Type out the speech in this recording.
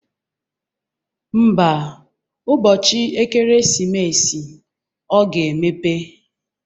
Ḿbà, ụbọchị ekeresimesi, ọ ga-emepe.